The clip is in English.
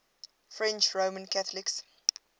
french roman catholics